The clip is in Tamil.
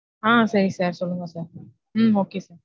ஆஹ் சரி sir சொல்லுங்க sir. Hmm okay sir.